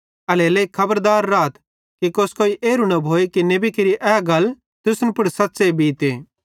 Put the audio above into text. एल्हेरेलेइ खबरदार राथ कोस्कोई एरू न भोए कि नेबी केरि ए गल तुसन पुड़ सच़्च़े बीते